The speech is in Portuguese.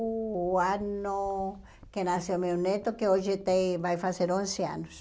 o ano que nasceu meu neto, que hoje tem vai fazer onze anos.